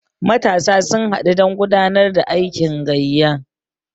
matasa sun haɗu don gudanar da aikin gayya